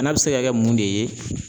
Bana bɛ se ka kɛ mun de ye